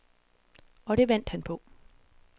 Og det vandt han på.